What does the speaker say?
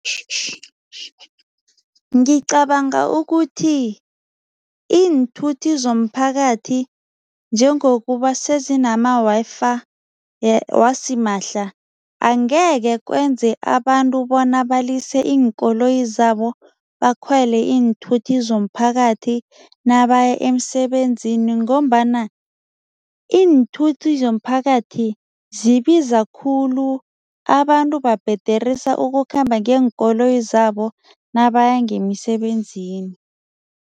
Ngicabanga ukuthi iinthuthi zomphakathi njengokuba sezinama-Wi-Fi wasimahla, angeke kwenze abantu bona balise iinkoloyi zabo, bakhwele iinthuthi zomphakathi nabaya emsebenzini ngombana iinthuthi zomphakathi zibiza khulu, abantu babhederisa ukukhamba ngeenkoloyi zabo nabaya ngemisebenzini.